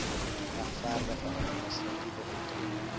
regverdige administratiewe optrede